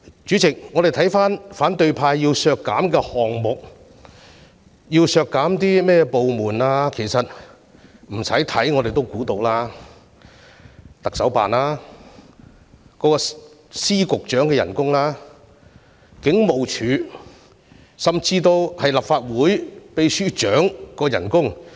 主席，關於反對派要求削減的項目及他們要求削減的部門開支，我不用猜也知道當中包括特首辦、各司局長的薪酬、警務處處長甚至立法會秘書長的薪酬。